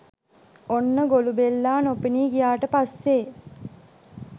ඔන්න ගොළුබෙල්ලා නොපෙනී ගියාට පස්සේ